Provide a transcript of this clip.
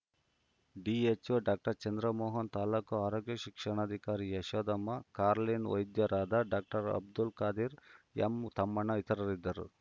THO doctor Chandramohan ತಾಲೂಕು ಆರೋಗ್ಯ ಶಿಕ್ಷಣಾಕಾರಿ ಯಶೋದಮ್ಮ ಕಾರ್ಲಿನ್‌ ವೈದ್ಯರಾದ ಡಾಕ್ಟರ್ ಅಬ್ದುಲ್‌ ಖಾದರ್‌ ಎಂಉಮ್ಮಣ್ಣ ಇತರರಿದ್ದರು